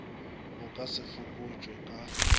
bo ka se fokotšwe ka